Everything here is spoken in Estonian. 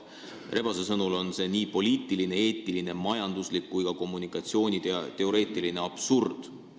Rebase sõnul on see poliitiline, eetiline, majanduslik ja ka kommunikatsiooniteoreetiline absurd.